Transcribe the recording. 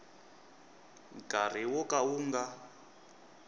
nkarhi wo ka wu nga